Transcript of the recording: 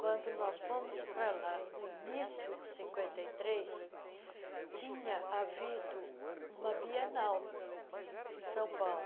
Quando nós fomos para lá, no início de cinquenta e três, tinha havido uma bienal em São Paulo.